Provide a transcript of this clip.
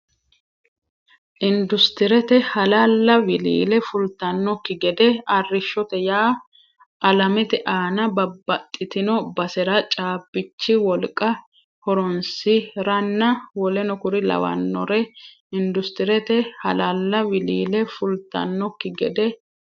Indusitirete hala la wiliile fultannokki gede arrishshote yaa alamete aana babbaxxitino basera caabbichi wolqa horoonsi ranna w k l Indusitirete hala la wiliile fultannokki gede.